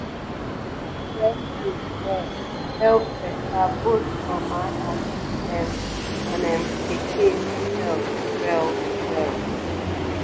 to store breast milk well dey help better both mama and ehm and ehm pikin health well-well